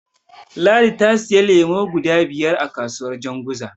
Ladi ta siyo lemo guda biyar a kasuwar Janguza.